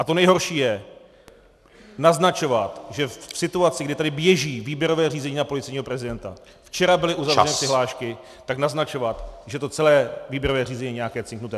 A to nejhorší je naznačovat, že v situaci, kdy tady běží výběrové řízení na policejního prezidenta , včera byly uzavřeny přihlášky, tak naznačovat, že to celé výběrové řízení je nějaké cinknuté!